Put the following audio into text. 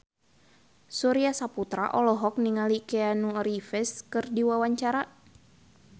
Surya Saputra olohok ningali Keanu Reeves keur diwawancara